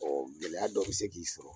gɛlɛya dɔ bɛ se k'i sɔrɔ.